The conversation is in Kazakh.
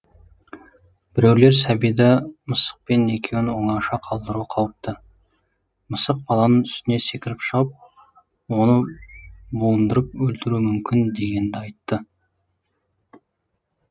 біреулер сәбиді мысықпен екеуін оңаша қалдыру қауіпті мысық баланың үстіне секіріп шығып оны буындырып өлтіруі мүмкін дегенді айтты